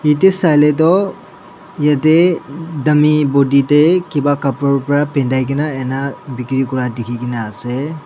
te saile toh yeti dummy body deh kipa khapru pa bindi kena ina bikuri kurya dikhigena ase.